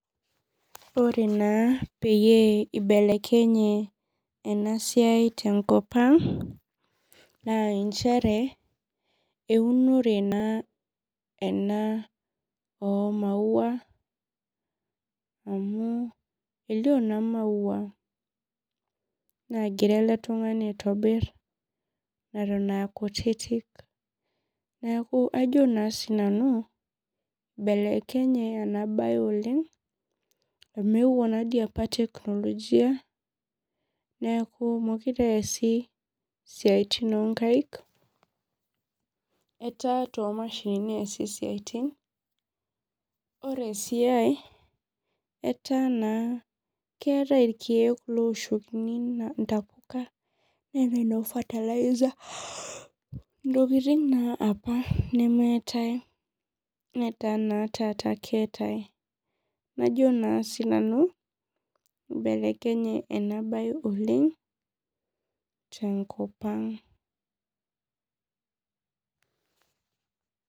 Ore na peyie ibelekenye enasia tenkop aang na nchere wunore na ena omaua amu elio na maua nagira eletungani aitobir natan aa kutitik neakuvajo na sinanu ibelekenye enabae enabae oleng amu eeuo apa technologia neaku mekute apa easi siatini onkaik etaa tomashinini easi siatini ore esiai keetai rkiek ooshikini ntapuka, neetai noo fertiliser ntokitin naapa nemeeta nataa oshi keetae najo na sinanu mbelekenye enabae oleng tenkopang